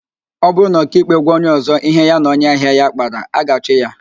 Ọ bụrụ na onye ọkaikpe agwa onye ọzọ ihe ya na onye ahịa ya kpara, a ga-achụ ya